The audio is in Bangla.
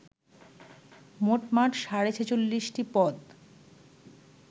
মোটমাট সাড়ে ছেচল্লিশটি পদ